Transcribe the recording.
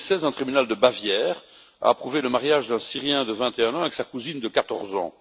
En 2016, un tribunal de Bavière a approuvé le mariage d'un Syrien de 21 ans avec sa cousine de 14 ans.